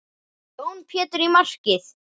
Jón Pétur í markið!